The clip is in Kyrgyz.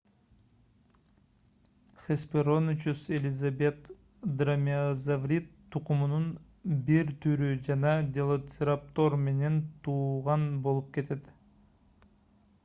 hesperonychus elizabethae дромеозаврид тукумунун бир түрү жана делоцираптор менен тууган болуп кетет